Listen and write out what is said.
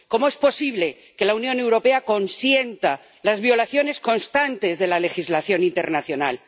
¿Cómo es posible que la Unión Europea consienta las violaciones constantes de la legislación internacional?